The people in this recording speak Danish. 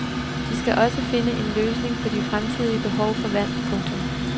De skal også finde en løsning på de fremtidige behov for vand. punktum